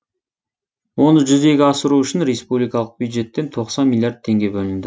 оны жүзеге асыру үшін республикалық бюджеттен тоқсан миллиард теңге бөлінді